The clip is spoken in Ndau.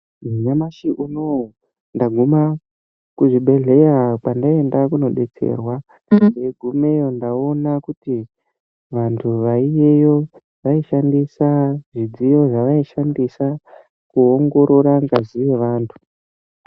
Nyamashi unowu ndagume kuchibhedhlera kwandaenda kundobetserwa ndagumeyo ndaona kuti antu ariyo vaishandisa zvidziyo zvavaishandisa kuongorora ngazi yevantu.